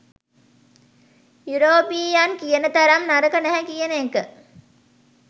European කියන තරම් නරක නැහැ කියන එක